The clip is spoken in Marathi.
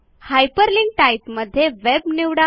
हायपरलिंक टाइप मध्ये वेब निवडा